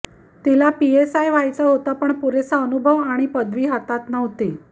तिला पीएसआय व्हायचं होतं पण पुरेसा अनुभव आणि पदवी हातात नव्हती